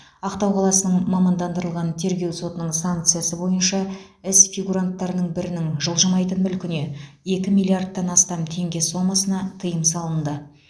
ақтау қаласының мамандандырылған тергеу сотының санкциясы бойынша іс фигуранттарының бірінің жылжылмайтын мүлкіне екі миллиардан астам теңге сомасына тыйым салынды